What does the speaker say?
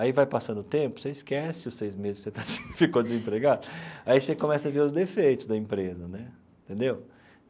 Aí vai passando o tempo, você esquece, os seis meses que você ficou desempregado, aí você começa a ver os defeitos da empresa né, entendeu?